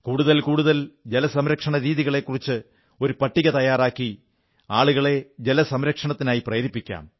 കൂടുതൽ കൂടുതൽ ജലസംരക്ഷണരീതികളെക്കുറിച്ച് ഒരു പട്ടിക തയ്യാറാക്കി ആളുകളെ ജലസംരക്ഷണത്തിനായി പ്രേരിപ്പിക്കാം